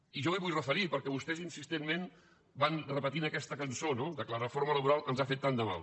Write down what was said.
i jo m’hi vull referir perquè vostès insistentment van repetint aquesta cançó que la reforma laboral ens ha fet tant de mal